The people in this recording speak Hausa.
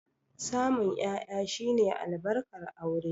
Samun 'ya'ya shine albarkar aure.